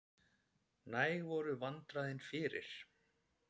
Næg voru vandræðin fyrir.